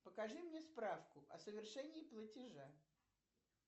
покажи мне справку о совершении платежа